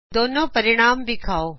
ਦੋਨੋ ਹੱਲ ਵਿਖਾਓ